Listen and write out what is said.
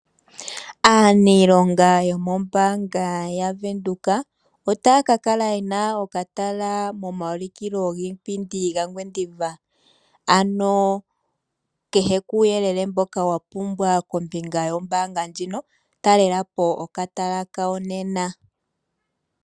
Aaniilonga yomombaanga ya Venduka, otaya ka kala yena okatala momaulikilo giipindi ga Ngwediva. Ano kehe kuuyele mboka wa pumbwa kombinga yombaanga ndjino, talela po okatala kawo nena.